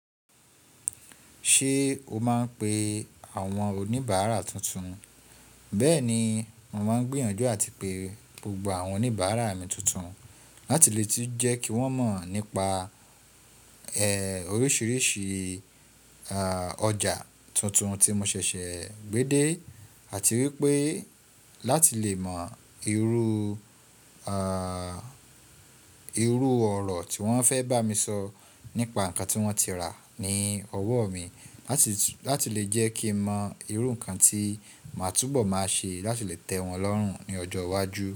Ṣe o máa ń pe àwọn oníbàárà tuntun? Bẹ́ẹ̀ni, mo máa ń gbìyànjú àti pe gbogbo àwọn oníbàárà mi tuntun láti lè tún jẹ́ kí wọ́n mọ̀ nípa, ẹ́, oríṣiríṣi, àà, ọjà tuntun tí mo ṣẹ̀ṣẹ̀ gbé dé àti wípé láti lè mọ irú, àà, irú ọ̀rọ̀ tí wọ́n fẹ́ bá mi sọ nípa nǹkan tí wọ́n ti rà ní ọwọ́ mi, láti, láti lè jẹ́ kí mọ irú nǹkan tí màá túbọ̀ máa ṣe láti lè tẹ́ wọn lọ́rùn ní ọjọ́ iwájú.